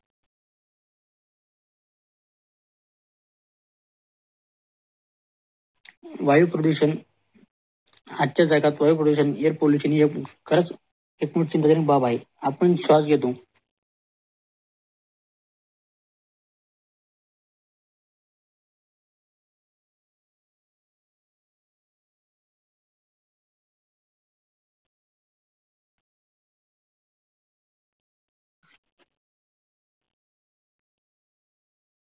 वायू प्रदूषण आजच्या जगात वायू प्रदूषण air pollution खरच एक चिंताज अपनं स्वास घेतो